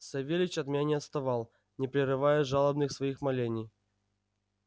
савельич от меня не отставал не прерывая жалобных своих молений